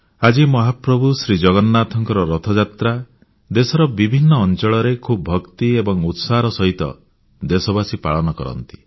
ଆଜି ମହାପ୍ରଭୁ ଶ୍ରୀଜଗନ୍ନାଥଙ୍କ ରଥଯାତ୍ରା ଦେଶର ଅନେକ ଅଂଚଳରେ ଖୁବ୍ ଭକ୍ତି ଏବଂ ଉତ୍ସାହର ସହିତ ଦେଶବାସୀ ପାଳନ କରନ୍ତି